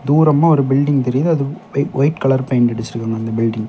தூரமா ஒரு பில்டிங் தெரியுது அது பெ வெயிட் கலர் பெயிண்ட்டு அடிச்சிருக்காங்க அந்த பில்டிங்கு .